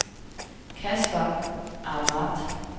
Kasper Ahmad